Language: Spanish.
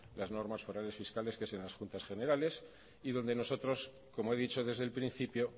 las normas forales fiscales que es en las juntas generales y donde nosotros como he dicho desde el principio